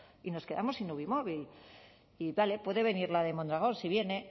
y nos quedamos sin uvi móvil y vale puede venir la de mondragón si viene